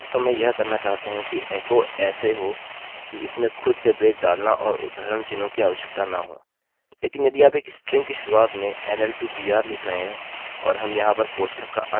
अतः यदि आप इसे नहीं बना सकते हैं और डेटाबेस में सिर्फ यह लेम टेस्ट है आप वास्तव में यह करना चाहते हैं कि एको ऐसे हो कि इसमें खुद से ब्रेक डालना और उद्धरणचिन्हों की आवश्यकता न हो